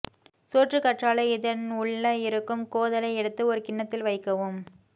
சோற்றுகற்றாழை இதன் உள்ள இருக்கும் கோதலை எடுத்து ஒரு கிண்ணத்தில் வைக்கவும்